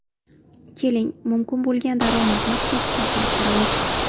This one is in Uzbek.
Keling, mumkin bo‘lgan daromadni hisob-kitob qilib ko‘ramiz!